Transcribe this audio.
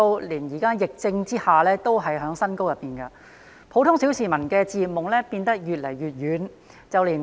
現時樓市升勢在疫情下仍然未減，普通小市民的置業夢變得越來越遠。